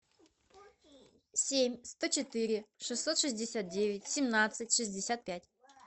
семь сто четыре шестьсот шестьдесят девять семнадцать шестьдесят пять